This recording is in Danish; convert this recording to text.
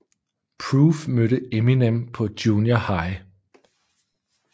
Proof mødte Eminem på Junior High